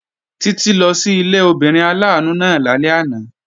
Títí lọ sí ilé obìnrin aláàánú náà lálẹ́ àná